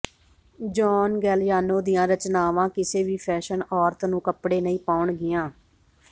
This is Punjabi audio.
ਜੌਨ ਗੈਲਯਾਨੋ ਦੀਆਂ ਰਚਨਾਵਾਂ ਕਿਸੇ ਵੀ ਫੈਸ਼ਨ ਔਰਤ ਨੂੰ ਕੱਪੜੇ ਨਹੀਂ ਪਾਉਣਗੀਆਂ